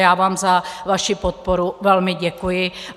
Já vám za vaši podporu velmi děkuji.